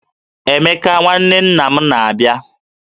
Emeka nwanne nna m na-abịa